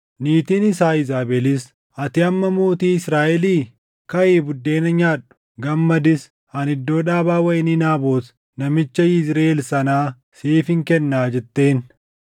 Niitiin isaa Iizaabelis, “Ati amma mootii Israaʼelii? Kaʼii buddeena nyaadhu! Gammadis. Ani iddoo dhaabaa wayinii Naabot namicha Yizriʼeel sanaa siifin kennaa” jetteen.